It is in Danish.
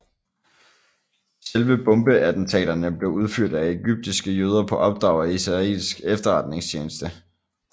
Selve bombeattentaterne blev udført af egyptiske jøder på opdrag af israelsk efterretningstjeneste